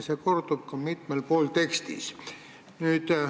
See kordub ka mitmel pool tekstis.